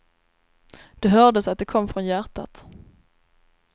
Det hördes att det kom från hjärtat.